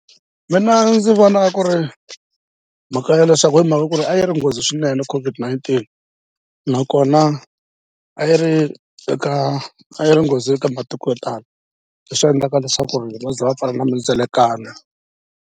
Mina ndzi vona ku ri mhaka ya leswaku hi mhaka ku ri a yi ri nghozi swinene COVID-19 nakona a yi ri eka a yi ri nghozi eka matiko yo tala leswi endlaka leswaku ri va ze va pfala na mindzelekano.